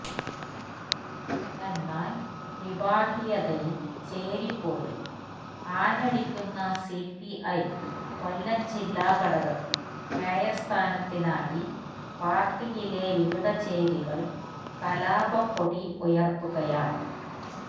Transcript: എന്നാൽ വിഭാഗിയതയും ചേരിപ്പോരും ആഞ്ഞടിക്കുന്ന സിപിഐ കൊല്ലം ജില്ലാ ഘടകത്തിൽ മേയർ സ്ഥാനത്തിനായി പാർട്ടിയിലെ വിവിധ ചേരികൾ കലാപക്കൊടി ഉയർത്തുകയാണ്